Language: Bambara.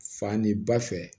Fani ba fɛ